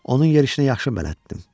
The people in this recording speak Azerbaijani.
Onun yerişinə yaxşı bələddim.